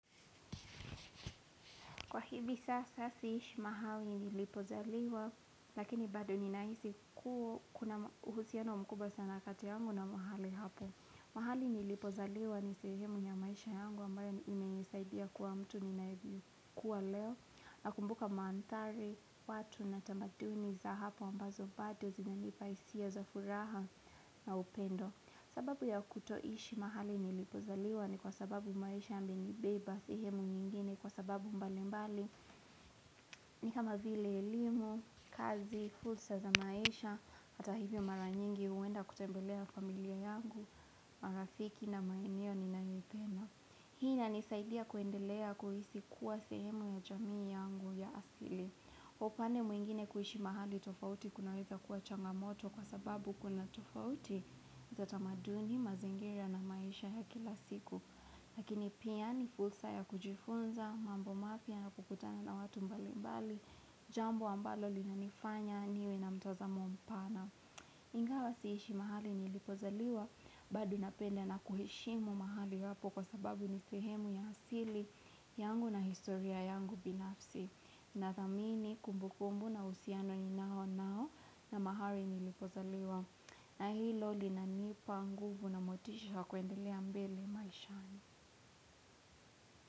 Kwa hivi sasa siishi mahali nilipozaliwa lakini bado ninahisi kuwa kuna uhusiano wa mkubwa sana kati yangu na mahali hapo. Mahali nilipozaliwa ni sehemu ya maisha yangu ambayo imesaidia kuwa mtu niliyekuwa leo na kumbuka maantari watu na tamaduni za hapo ambazo bado zina nipahisia za furaha na upendo. Sababu ya kutoishi mahali nilipozaliwa ni kwa sababu maisha yamenibaba sehemu nyingine kwa sababu mbali mbali ni kama vile elimu, kazi, fursa za maisha, hata hivyo mara nyingi uenda kutembelea familia yangu, marafiki na maeneo ni naipenda Hii na nisaidia kuendelea kuhisi kuwa sehemu ya jamii yangu ya asili upande mwingine kuishi mahali tofauti kunaweza kuwachangamoto kwa sababu kuna tofauti za tamaduni mazingira na maisha ya kila siku. Lakini pia ni fulsa ya kujifunza, mambo mapya na kukutana na watu mbali mbali, jambo ambalo linanifanya, niwe na mtoza mpana. Ingawa siishi mahali ni ilipozaliwa, bado napenda na kuhishimu mahali wapo kwa sababu ni sehemu ya hasili yangu na historia yangu binafsi. Na thamini kumbukumbu na usiano ni nao nao na maharini lipozaliwa na hilo li na nipa nguvu na motisha kwendelea mbele maishani.